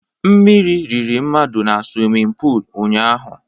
Mmírí riri mmadụ na swimin pul ụnyaahụ